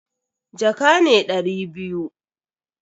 Jaka ne dari biyu.